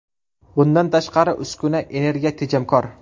Bundan tashqari, uskuna energiya tejamkor.